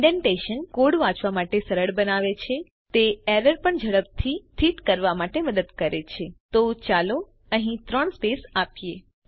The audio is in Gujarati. ઇન્ડેંટેશન કોડ વાંચવા માટે સરળ બનાવે છે તે એરર પણ ઝડપથી સ્થિત કરવા માટે મદદ કરે છે તો ચાલો અહીં ત્રણ સ્પેસ આપીએ